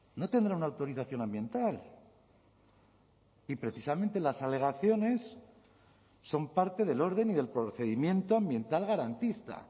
no tendrá una autorización ambiental y precisamente las alegaciones son parte del orden y del procedimiento ambiental garantista